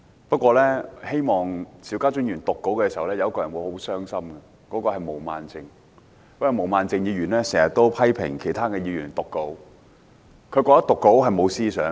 不過，當邵家臻議員讀稿時，有一個人會很傷心，就是毛孟靜議員，因為她經常批評其他議員讀稿，她覺得讀稿是無思想。